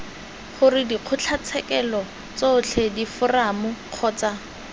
gore dikgotlatshekelo tsotlhe diforamo kgotsa